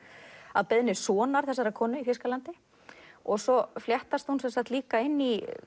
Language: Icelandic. að beiðni sonar þessarar konu í Þýskalandi svo fléttast hún líka inn í